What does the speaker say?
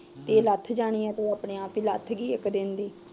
ਇਹ ਲੱਥ ਜਾਣੀ ਏ ਉਹ ਲੱਥ ਗਈ ਆਪੇ ਈ